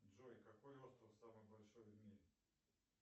джой какой остров самый большой в мире